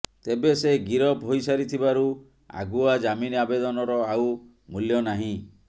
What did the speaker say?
ତେବେ ସେ ଗିରଫ ହୋଇସାରିଥିବାରୁ ଆଗୁଆ ଜାମିନ ଆବେଦନର ଆଉ ମୂଲ୍ୟ ନାହିଁ